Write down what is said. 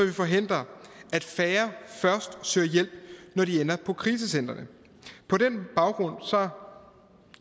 færre først søger hjælp når de ender på krisecentrene på den baggrund